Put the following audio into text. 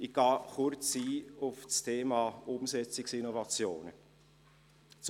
Ich gehe kurz auf das Thema Umsetzungsinnovationen ein.